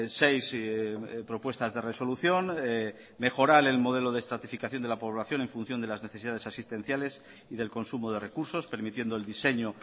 seis propuestas de resolución mejorar el modelo de estratificación de la población en función de las necesidades asistenciales y del consumo de recursos permitiendo el diseño